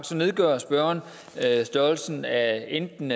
så nedgør spørgeren størrelsen af enten